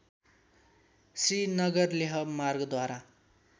Srinagar-Leh मार्गद्वारा